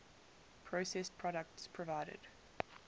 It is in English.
processed products provided